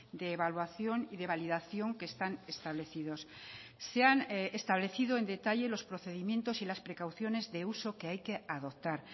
de evaluación y de validación que están establecidos se han establecido en detalle los procedimientos y las precauciones de uso que hay que adoptar